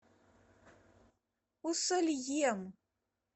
усольем